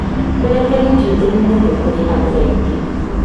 ũrekeri ti ũndũ mũhũthũ kũrĩ andũ aingĩ